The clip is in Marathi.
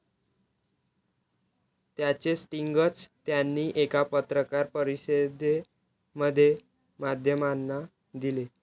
त्याचे स्टिंगच त्यांनी एका पत्रकार परिषदेमध्ये माध्यमांना दिले.